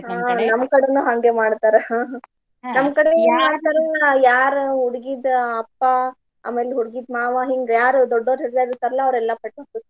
ಹ್ಮ್ ನಮ್ಮ್ ಕಡೆನು ಹಂಗ ಮಾಡ್ತಾರ ನಮ್ಮ್ ಕಡೆ ಏನ ಮಾಡ್ತಾರ ಯಾರ ಹುಡ್ಗಿದ್ ಅಪ್ಪಾ ಆಮೇಲೆ ಹುಡ್ಗಿದ್ ಮಾವಾ ಹಿಂಗ್ ಯಾರ್ ದೊಡ್ಡೋವ್ರ ಹೀರ್ಯಾರ ಇರ್ತಾರ್ಲಾ ಅವ್ರೆಲ್ಲಾ ಪಟ್ಕಾ.